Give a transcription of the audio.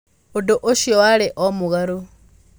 Ũndũ ũcio warĩ o mũgarũ.